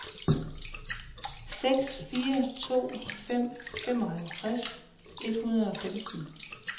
seks fire to fem femoghalvtreds et hundrede og femten